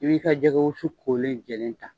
I b'i ka jɛgɛwosu kolen jɛlen ta.